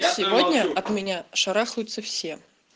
сегодня от меня шарахаются все